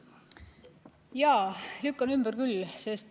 Jaa, lükkan ümber küll.